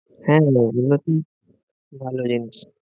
ভালো range